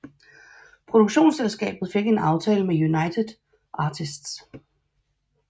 Produktionsselskabet fik en aftale med United Artists